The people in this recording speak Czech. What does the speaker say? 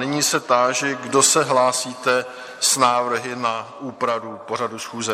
Nyní se táži, kdo se hlásíte s návrhy na úpravu pořadu schůze?